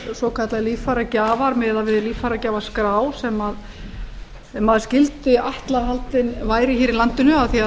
svokallaðir líffæragjafar miðað við líffæragjafaskrá sem maður skyldi ætla að haldin væri í landinu af því að